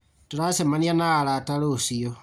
Tũracemania na arata rũciũ